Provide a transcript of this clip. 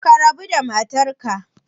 Ka rabu da matarka